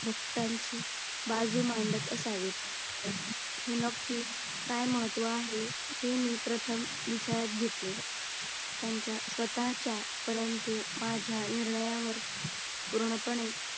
भक्तांची बाजू मांडत असावेत हे नक्की काय महत्व आहे. हे मी प्रथम विचारात घेतले. त्याच्या स्वतःच्या परंतु माझ्या निर्णयावर पूर्णपणे